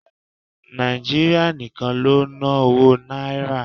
Nàìjíríà nìkan ló ń ná owó Náírà.